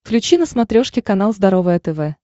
включи на смотрешке канал здоровое тв